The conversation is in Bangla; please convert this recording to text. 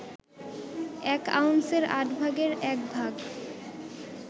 এক আউন্সের আট ভাগের একভাগ